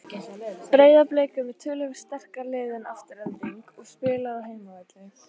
Breiðablik er með töluvert sterkara lið en Afturelding og spilar á heimavelli.